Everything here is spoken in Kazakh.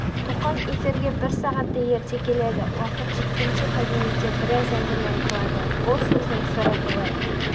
тоқаң эфирге бір сағаттай ерте келеді уақыт жеткенше кабинетте біраз әңгіме айтылады бұл сөздің сыры былай